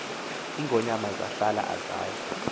iingonyama zahlala azaya